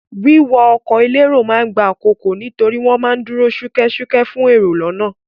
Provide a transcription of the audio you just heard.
Wíwọ ọkọ̀ elérò ma ń gba àkókò nítorí wọ́n ma ń dúró ṣúkẹ́ṣúkẹ́ fún èrò lọ́nà.